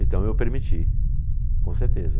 Então eu permiti, com certeza.